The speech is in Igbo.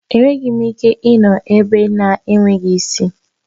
Enweghị m ike ịnọ ebe na-enweghị esị